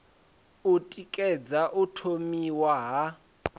u tikedza u thomiwa ha